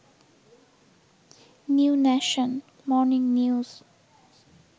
new Nation, Morning news